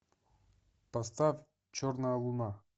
поставь черная луна